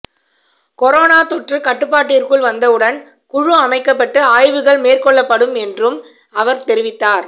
corona தொற்று கட்டுப்பாட்டிற்குள் வந்தவுடன் குழு அமைக்கப்பட்டு ஆய்வுகள் மேற்கொள்ளப்படும் என்றும் அவர் தெரிவித்தார்